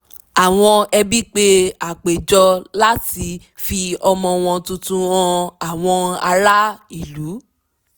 àwọn ẹbí pe àpéjọ láti fi ọmọ wọn tuntun han àwọn ará ìlú